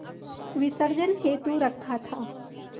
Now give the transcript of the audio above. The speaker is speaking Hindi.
विसर्जन हेतु रखा था